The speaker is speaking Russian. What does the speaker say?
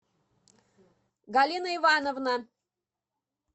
галина ивановна